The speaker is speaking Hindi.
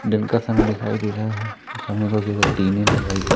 दिन का समय दिखाई दे रहा है समय को अभी तक ।